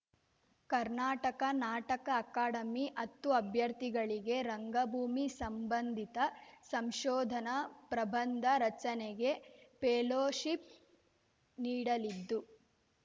ಕರ್ನಾಟಕ ನಾಟಕ ಅಕಾಡೆಮಿ ಹತ್ತು ಅಭ್ಯರ್ಥಿಗಳಿಗೆ ರಂಗಭೂಮಿ ಸಂಬಂಧಿತ ಸಂಶೋಧನಾ ಪ್ರಬಂಧ ರಚನೆಗೆ ಪೆಲೋಶಿಪ್‌ ನೀಡಲಿದ್ದು